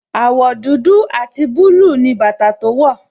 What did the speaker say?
Àwọ̀ dúdú àti búlúù ni bàtà tó wọ̀.